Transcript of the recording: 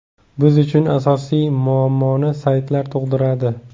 Biz uchun asosiy muammoni saytlar tug‘diradi.